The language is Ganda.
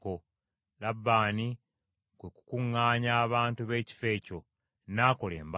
Labbaani kwe kukuŋŋaanya abantu b’ekifo ekyo, n’akola embaga.